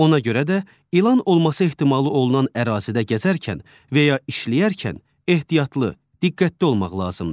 Ona görə də ilan olması ehtimalı olunan ərazidə gəzərken və ya işləyərkən ehtiyatlı, diqqətli olmaq lazımdır.